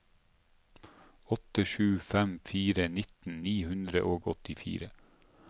åtte sju fem fire nitten ni hundre og åttifire